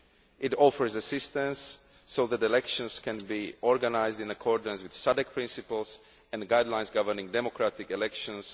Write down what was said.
It offers assistance so that elections can be organised in accordance with SADC principles and guidelines governing democratic elections.